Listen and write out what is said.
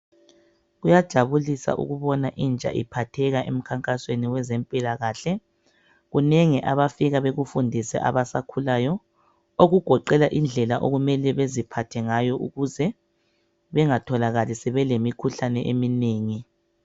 Kuyajabulisa ukubona intsha iphatheka emkhankasweni wezempilakahle, kunengi abafika bakufundise abasakhulayo, okugoqela indlela okumele baziphathe ngayo ukuze bangatholakali sebele mikhuhlane eminengi.